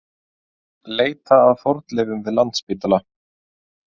Leita að fornleifum við Landspítala